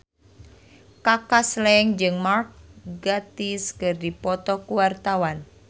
Kaka Slank jeung Mark Gatiss keur dipoto ku wartawan